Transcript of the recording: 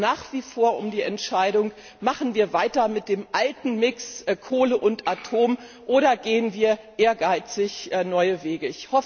Es geht nach wie vor um die Entscheidung Machen wir weiter mit dem alten Mix Kohle und Atom oder gehen wir ehrgeizig neue Wege?